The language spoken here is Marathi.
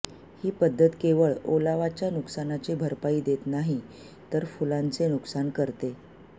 ही पद्धत केवळ ओलावाच्या नुकसानाची भरपाई देत नाही तर फुलांचे नुकसान करते